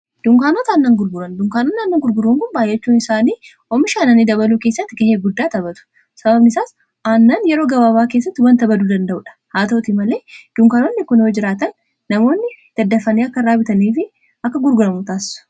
dunkaanota annan gurguran dunkaanotn annan gurguraun kunbaayyachuun isaanii oomishaananii dabaluu keessatti ga'ee guddaa tabatu sababni isaas aannan yeroo gabaabaa keessatti wanta baduu danda'uu dha haa ta'uti malee duunkaanootni ikunoo jiraatan namoonni daddafanii akka raabitaniifi akka gurguramutaassu